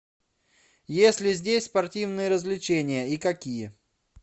есть ли здесь спортивные развлечения и какие